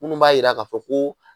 Minnu b'a jira k'a fɔ ko